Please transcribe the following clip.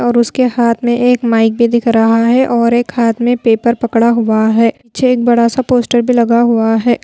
और उसके हाथ में एक माइक भी दिख रहा है और एक हाथ में पेपर पकड़ा हुआ है पीछे एक बड़ा सा पोस्टर भी लगा हुआ है।